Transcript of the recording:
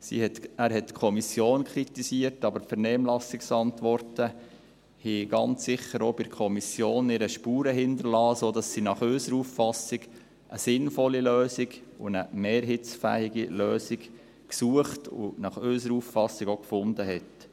Er hat die Kommission kritisiert, aber die Vernehmlassungsantworten haben ganz sicher auch bei der Kommission ihre Spuren hinterlassen, sodass sie nach unserer Auffassung eine sinnvolle Lösung und eine mehrheitsfähige Lösung gesucht und nach unserer Auffassung auch gefunden hat.